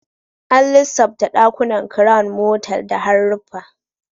An lissafta dakunan Crown motal da haruffa